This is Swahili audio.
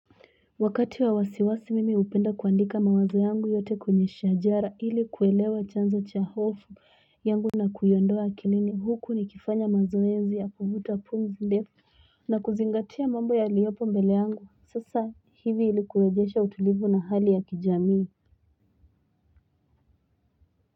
Wakati wa wasiwasi mimi hupenda kuandika mawazo yangu yote kwenye shajara ilikuelewa chanzo cha hofu yangu na kuyiondoa akilini huku ni kifanya mazoezi ya kuvuta pumzi ndefu Nakuzingatia mambo ya liyopo mbele yangu sasa hivi ilikurejesha utulivu na hali ya kijami.